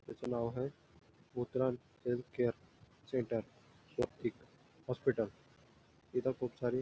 त्याचं नाव आहे हेल्थकेअर सेंटर स्वस्तिक तिथं खूप सारी --